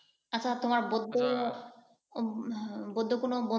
আচ্ছা তোমার বুদ্ধ, বুদ্ধ কোন বন্ধু